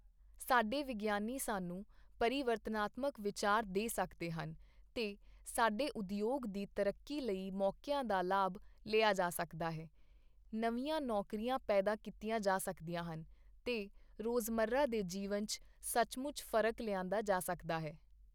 ਸਾਡੇ ਵਿਗਿਆਨੀ ਸਾਨੂੰ ਪਰਿਵਰਤਨਾਤਮਕ ਵਿਚਾਰ ਦੇ ਸਕਦੇ ਹਨ ਤੇ ਸਾਡੇ ਉਦਯੋਗ ਦੀ ਤਰੱਕੀ ਲਈ ਮੌਕਿਆਂ ਦਾ ਲਾਭ ਲਿਆ ਜਾ ਸਕਦਾ ਹੈ, ਨਵੀਂਆਂ ਨੌਕਰੀਆਂ ਪੈਦਾ ਕੀਤੀਆਂ ਜਾ ਸਕਦੀਆਂ ਹਨ ਤੇ ਰੋਜ਼ਮੱਰਾ ਦੇ ਜੀਵਨ ਚ ਸੱਚਮੁਚ ਫ਼ਰਕ ਲਿਆਂਦਾ ਜਾ ਸਕਦਾ ਹੈ।